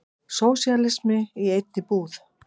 Sósíalismi í einni íbúð.